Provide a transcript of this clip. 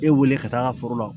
E wele ka taa foro la